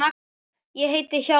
Ég heiti Hjálmar